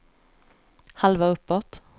halva uppåt